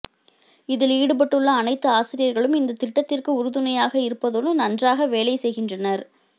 இதில் ஈடுபட்டுள்ள அனைத்து ஆசிரியர்களும் இந்த திட்டத்திற்கு உறுதுணையாக இருப்பதோடு நன்றாக வேலை செய்கின்றனர்